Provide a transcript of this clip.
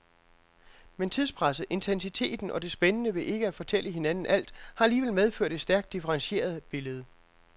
Men tidspresset, intensiteten og det spændende ved ikke at fortælle hinanden alt har alligevel medført et stærkt differentieret billede.